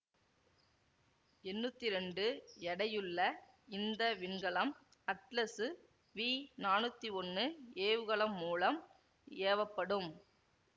எண்ணூத்தி இரண்டு எடையுள்ள இந்த விண்கலம் அட்லசு வி நானூத்தி ஒன்னு ஏவுகலம் மூலம் ஏவப்படும்